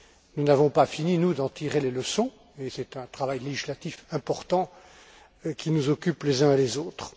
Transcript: Nous n'avons pas fini d'en tirer les leçons et c'est un travail législatif important qui nous occupe les uns et les autres.